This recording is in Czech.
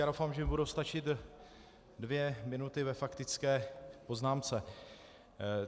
Já doufám, že mi budou stačit dvě minuty ve faktické poznámce.